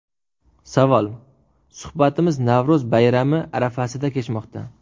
Savol: Suhbatimiz Navro‘z bayrami arafasida kechmoqda.